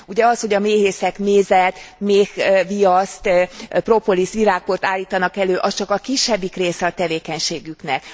Ugye az, hogy a méhészek mézet, méhviaszt, propoliszt, virágport állítanak elő, az csak a kisebbik része a tevékenységüknek.